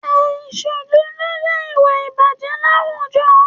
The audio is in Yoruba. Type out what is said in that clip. Àìṣòdodo jẹ́ ìwà ìbàjẹ́ láwùjọ